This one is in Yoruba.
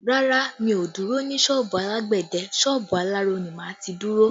Rárá, mi ò dúró ní sọ́ọ̀bù alágbẹ̀dẹ, sọ́ọ̀bù aláró ni máa ti dúró